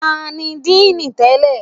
Tani díì nì tẹ́lẹ̀?